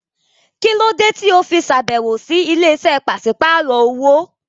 Kí ló dé tí o fi ṣàbẹ̀wò sí ilé-iṣẹ́ pàṣípàrọ̀ owó?